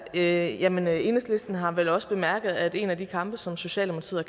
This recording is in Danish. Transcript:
i her jamen enhedslisten har vel også bemærket at en af de kampe som socialdemokratiet